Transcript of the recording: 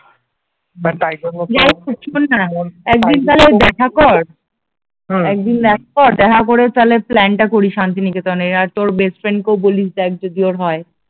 but তাই জন্য বলছি শোন না একদিন তাহলে দেখা কর হম একদিন দেখা কর, দেখা করে তাহলে প্ল্যান টা করি শান্তিনিকেতনের, আর তোর বেস্ট ফ্রেন্ড কেও বলিস দেখ যদি ওর হয়